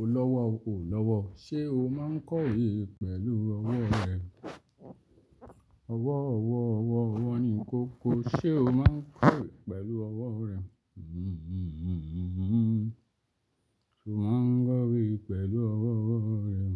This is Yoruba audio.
O lọ́wọ́ o, o lọ́wọ́ o. Ṣé o máa kọ̀wé pẹ̀lú ọwọ́ rẹ? Ọwọ́, ọwọ́, ọwọ́, ọwọ́ ni kó ko. Ṣé o máa kọ̀wé pẹ̀lú ọwọ́ rẹ? Sé o máa kọ̀wé pẹ̀lú ọwọ́ rẹ?